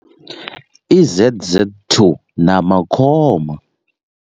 I Z_Z two na Makhoma.